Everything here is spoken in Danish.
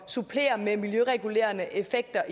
supplere med miljøregulerende effekter